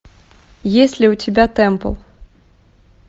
есть ли у тебя тэмпл